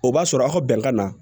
O b'a sɔrɔ aw ka bɛnkan na